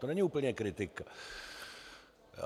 To není úplně kritika.